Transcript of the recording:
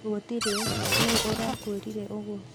Gutirĩ nũũ ũrakwĩrre ũguo?